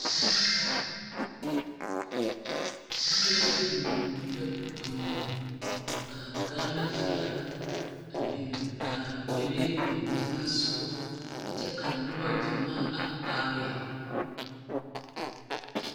tebol la biŋe ka Gaana filaki a biŋ ka pelee biŋ teŋasɔgɔ kyɛ ka noba gyamaa a are.